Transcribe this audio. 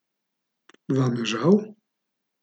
Vam je žal?